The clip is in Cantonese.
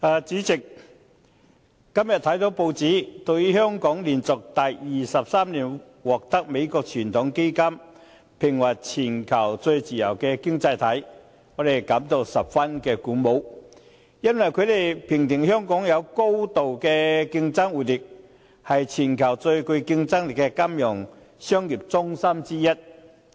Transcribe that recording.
主席，今天看到報章，對於香港連續第二十三年獲美國傳統基金會評為全球最自由經濟體，我們感到十分鼓舞，因為香港被評選為具高度經濟活力，是全球最具競爭力的金融商業中心之一。